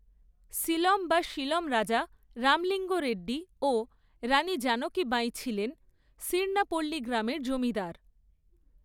সিলম বা শিলম রাজা রামলিঙ্গ রেড্ডি ও রাণী জানকী বাঈ ছিলেন সির্ণাপল্লী গ্রামের জমিদার।